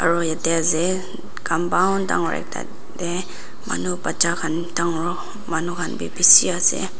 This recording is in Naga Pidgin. aro yatae ase compound dangor ek ekta tae manu bacha khan dangor manu khan bi bishi ase.